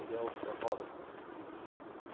Ele é oceanógrafo.